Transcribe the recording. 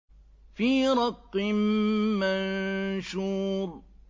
فِي رَقٍّ مَّنشُورٍ